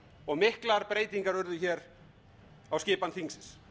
og miklar breytingar urðu hér á skipan þingsins